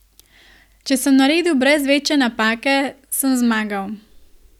Če sem naredil brez večje napake, sem zmagal.